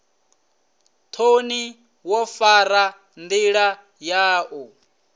thoni wo fara ndila yau